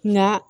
Nka